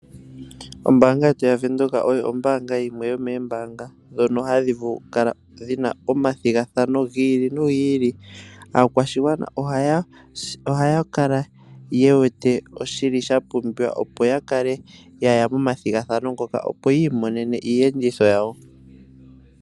Ombanga yetu yavenduka oyo ombanga yimwe yomombanga dhono hadhivulu okukala dhina omathingathano ngili nongili, akwashingwana ohaya kala yewete shili shapumbiwa opo yakale yaya momathingathano ngoka opo yimonene iyenditho yawo.